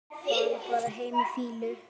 Fara bara heim í fýlu?